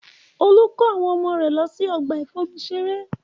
Olú kó àwọn ọmọ rẹ̀ lọ sí ọgbà ìfomi ṣeré